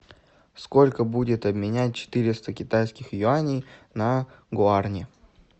сколько будет обменять четыреста китайских юаней на гуарани